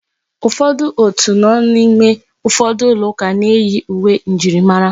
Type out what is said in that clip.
Ụfọdụ òtù ndị nọ n'ime ụfọdụ ụlọ ụka na-eyi uwe njirimara.